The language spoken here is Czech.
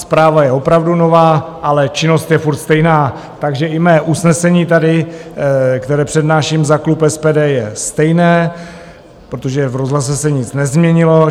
Zpráva je opravdu nová, ale činnost je pořád stejná, takže i mé usnesení tady, které přednáším za klub SPD, je stejné, protože v rozhlase se nic nezměnilo.